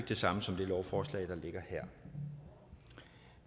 det samme som det lovforslag der ligger her